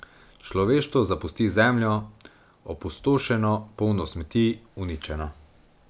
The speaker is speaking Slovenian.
Človeštvo zapusti Zemljo, opustošeno, polno smeti, uničeno.